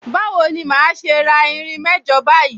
Bawo ni màá ṣe ra irin mẹ́jọ báyìí?